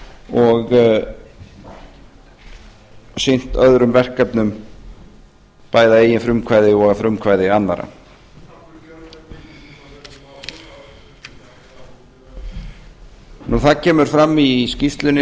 og sinnt öðrum verkefnum bæði að eigið frumkvæði og að frumkvæði annarra það kemur fram í skýrslunni